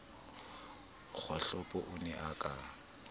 kgohlopo o ne a ka